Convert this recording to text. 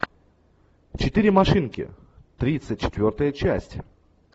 четыре машинки тридцать четвертая часть